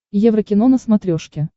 еврокино на смотрешке